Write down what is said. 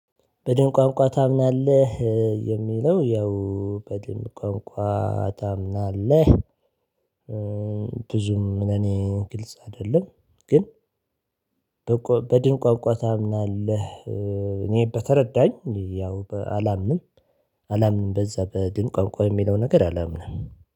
በድን ቋንቋ ታምናለህ የሚለው ያው በድን ቋንቋ ታምናለህ? ብዙም ለኔ ግልጽ አይደለም ግን። በድንቋንቋ ታምናለህ? እኔ በተረዳኝ ያው አላምንም። አላምንም በዛ በድንቋንቋ ቋንቋ በሚለው ነገር አላምንም።